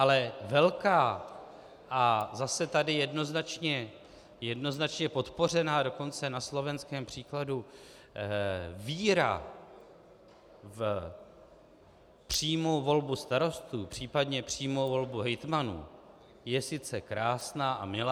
Ale velká a zase tady jednoznačně podpořená, dokonce na slovenském příkladu, víra v přímou volbu starostů, případně přímou volbu hejtmanů, je sice krásná a milá.